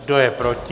Kdo je proti?